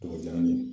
Tɔgɔ jara min ye